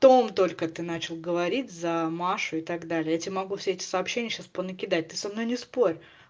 том только ты начал говорить за машу и так далее я тебе могу все эти сообщения сейчас по накидать ты со мной не спорь